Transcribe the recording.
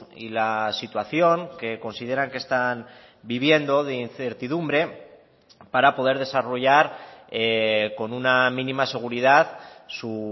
y la situación que consideran que están viviendo de incertidumbre para poder desarrollar con una mínima seguridad su